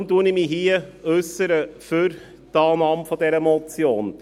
Weshalb äussere ich mich hier für die Annahme der Motion?